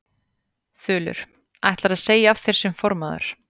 Þulur: Ætlarðu að segja af þér sem formaður?